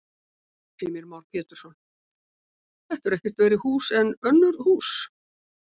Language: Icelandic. Heimir Már Pétursson: Þetta eru ekkert verri hús en önnur hús?